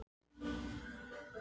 Beitir, opnaðu dagatalið mitt.